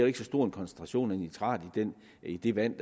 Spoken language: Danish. ikke så stor en koncentration af nitrat i det vand